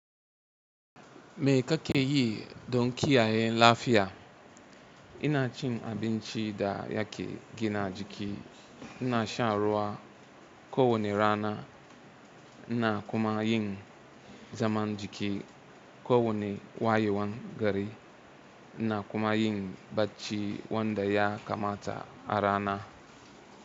Me kake yi don kiyaye lafiya? Ina cin abinci da yake gina jiki, ina shan ruwa, kowane rana, ina kuma yin zaman jiki kowane wayewan gari, ina kuma yin bacci wanda ya kamata a rana.